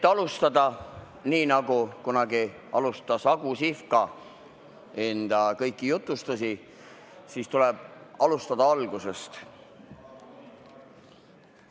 Et alustada nii, nagu kunagi alustas Agu Sihvka enda kõiki jutustusi, siis tuleb alustada algusest.